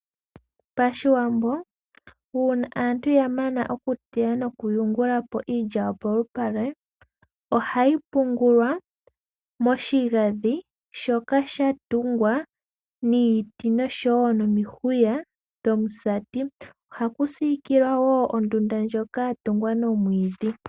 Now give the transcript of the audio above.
Pashiwambo uuna aantu ya mana okuteya noku yungula po iilya polupale ohayi pungulwa moshigandhi shoka sha tungwa niiti nomihwiya dhomusati, ohaku sikilwa ondunda ndjoka ya tungwa nomwiidhi.